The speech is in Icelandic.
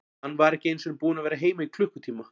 Hann var ekki einu sinni búinn að vera heima í klukkutíma.